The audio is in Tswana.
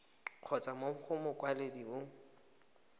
kgotsa mo go mokwaledi mo